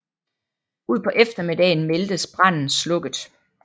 Ud på eftermiddagen meldtes branden slukket